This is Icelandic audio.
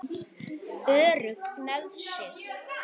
Örugg með sig.